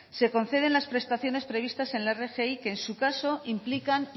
se conceden las prestaciones previstas en la rgi que en su caso implican